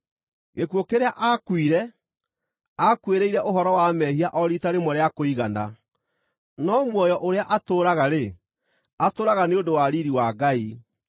Gĩkuũ kĩrĩa aakuire, aakuĩrĩire ũhoro wa mehia o riita rĩmwe rĩa kũigana; no muoyo ũrĩa atũũraga-rĩ, atũũraga nĩ ũndũ wa riiri wa Ngai.